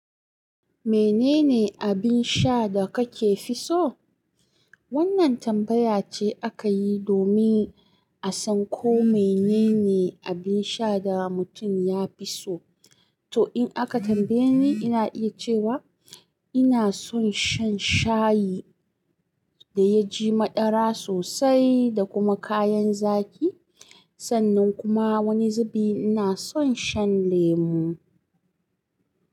Menene abin sha da kake fi so? Wannan tambaya ce aka yi domin a san ko menene abin sha da mutun ya fi so. To, in aka tambaye ni, ina iya cewa ina son shan shayi da ya ji maɗara sosai da kuma kayan zaki. Sannan kuma wani zubi ina son shan lemo.